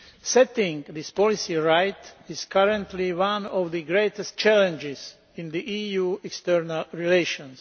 Setting this policy right is currently one of the greatest challenges in the EU's external relations.